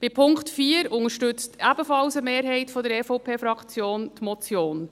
Beim Punkt 4 unterstützt ebenfalls eine Mehrheit der EVP-Fraktion die Motion.